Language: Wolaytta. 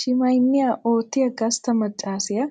Shimayinniyaa oottiyaa gastta maccaasiyaa